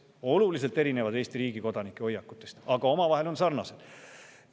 Oluliselt erinevad Eesti riigi kodanike hoiakutest, aga omavahel on sarnased.